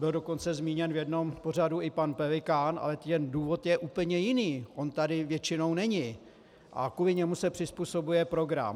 Byl dokonce zmíněn v jednom pořadu i pan Pelikán, ale ten důvod je úplně jiný - on tady většinou není a kvůli němu se přizpůsobuje program.